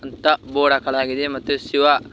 ತ ಬೋರ್ಡ್ ಹಾಕಲಾಗಿದೆ ಮತ್ತೆ ಶಿವ--